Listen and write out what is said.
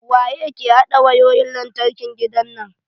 Waye ke haɗa wayoyin lantarkin gidan nan?